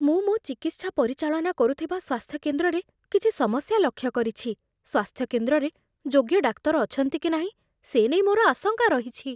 ମୁଁ ମୋ ଚିକିତ୍ସା ପରିଚାଳନା କରୁଥିବା ସ୍ୱାସ୍ଥ୍ୟ କେନ୍ଦ୍ରରେ କିଛି ସମସ୍ୟା ଲକ୍ଷ୍ୟ କରିଛି। ସ୍ୱାସ୍ଥ୍ୟ କେନ୍ଦ୍ରରେ ଯୋଗ୍ୟ ଡାକ୍ତର ଅଛନ୍ତି କି ନାହିଁ, ସେ ନେଇ ମୋର ଆଶଙ୍କା ରହିଛି।